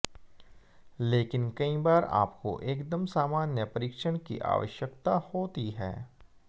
लेकिन कई बार आपको एकदम सामान्य परीक्षण की आवश्यकता होती है